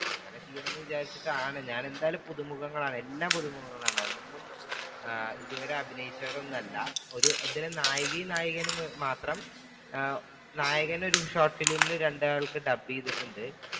അങ്ങനെ ചെയ്യണമെന്ന് വിചാരിച്ചിട്ടാണ് ഞാൻ എന്തായാലും പുതുമുഖങ്ങളാണ് എല്ലാം പുതുമുഖങ്ങളാണ് ഒന്നും ഇതുവരെ അഭിനയിച്ചവർ ഒന്നുമില്ല. നായകനും നായികയും മാത്രം നായകൻ ഒരു short film ൽ രണ്ടാൾക്ക് ഡബ് ചെയ്തിട്ടുണ്ട്.